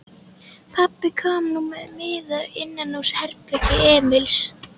Pabbi kom nú með miða innanúr herbergi Emils.